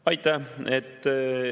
Aitäh!